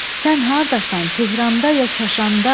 sən hardasan, Tehranda ya Qaşanda?